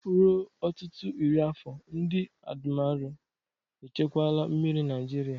Ruo ọtụtụ iri afọ, ndị admiralu echekwala mmiri Naijiria.